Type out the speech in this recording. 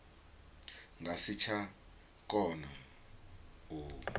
nga si tsha kona u